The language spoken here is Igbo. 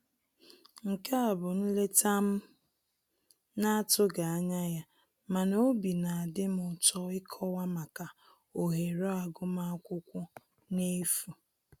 Nke a bụ nleta m na-atụghị anya ya mana obi na adị m ụtọ ịkọwa maka ohere agụmakwụkwọ n'efu